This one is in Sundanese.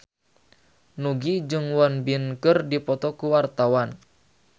Nugie jeung Won Bin keur dipoto ku wartawan